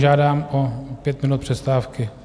Požádám o pět minut přestávky.